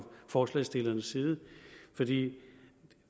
forslagsstillernes side for det